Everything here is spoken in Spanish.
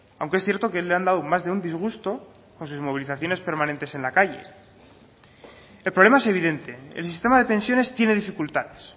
aunque es cierto que le han dado más de un disgusto con sus movilizaciones permanentes en la calle el problema es evidente el sistema de pensiones tiene dificultades